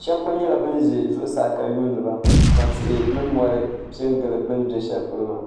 shab gba nyɛla bin ʒɛ zuɣusaa ka yuundiba ka tihi ni mori piɛ n gili bi ni bɛ shɛli polo maa